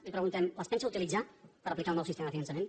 li preguntem les pensa utilitzar per aplicar el nou sistema de finançament